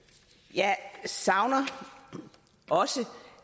jeg savner også